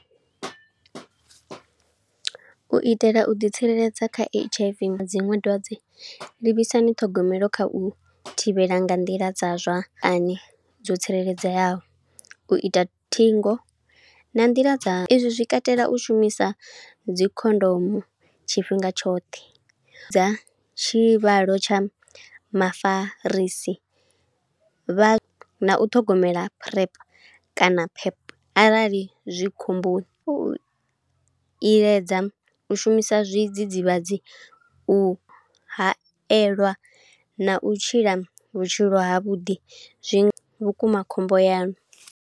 U itela u ḓi tsireledza kha H_I_V dziṅwe dwadze, livhisani ṱhogomelo kha u thivhela nga nḓila dza zwa ani dzo tsireledzeaho. U ita thingo na nḓila dza, izwi zwi katela u shumisa dzi khondomo tshifhinga tshoṱhe, dza tshivhalo tsha mafarisi vha. Na u ṱhogomela PrEP kana pep arali zwikhomboni, u iledza u shumisa zwidzidzivhadzi, u hayeliwa, na u tshila vhutshilo ha vhuḓi zwi vhukuma khombo yanu.